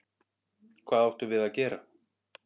Hvað áttum við að gera?